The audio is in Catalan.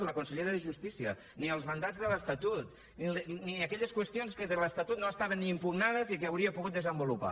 o la consellera de justícia ni els mandats de l’estatut ni aquelles qüestions que de l’estatut no estaven ni impugnades i que hauria pogut desenvolupar